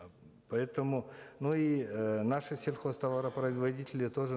поэтому ну и э наши сельхозтоваропроизводители тоже